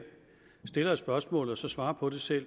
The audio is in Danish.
stiller et spørgsmål og så svarer på det selv